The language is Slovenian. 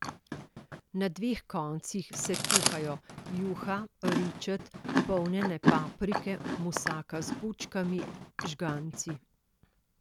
Na dveh koncih se kuhajo juha, ričet, polnjene paprike, musaka z bučkami, žganci ...